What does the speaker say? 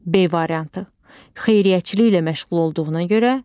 B variantı: Xeyriyyəçiliyi ilə məşğul olduğuna görə.